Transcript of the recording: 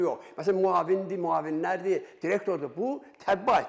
Məsələn, müavindir, müavinlərdir, direktordur, bu təbibə aiddir.